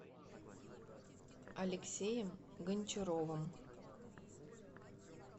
алексеем гончаровым